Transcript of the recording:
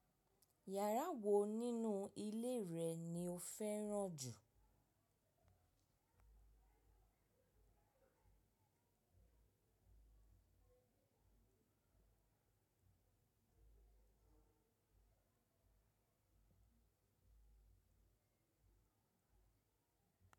Yàrá wo nínú ilé rẹ ni o fẹ́ràn jù?